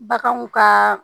Baganw ka